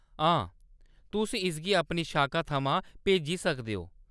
हां, तुस इसगी अपनी शाखा थमां भेजी सकदे ओ।